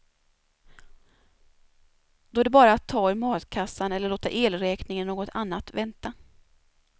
Då är det bara att ta ur matkassan eller låta elräkning eller något annat vänta.